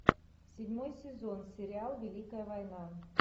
седьмой сезон сериал великая война